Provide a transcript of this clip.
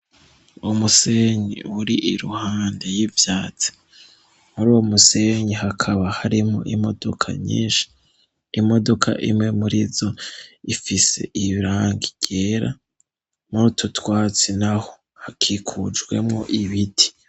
Umusenyi uri iruhande y'ivyatse muri uwo musenyi hakaba harimo imodoka nyinshi imodoka imwe murizo ifise ibrangiyera murutotwatsi naho hakikujwemo ibiti.